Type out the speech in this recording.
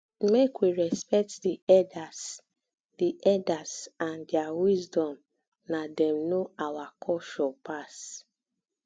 make we respect di elders di elders and their wisdom na dem know our culture pass